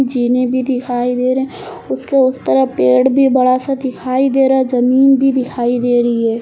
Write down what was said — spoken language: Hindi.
जीने भी दिखाई दे रहे उसके उस तरफ पेड़ भी बड़ा सा दिखाई दे रहा जमीन भी दिखाई दे रही है।